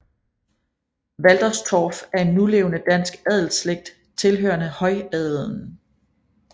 Walterstorff er en nulevende dansk adelsslægt tilhørende højadelen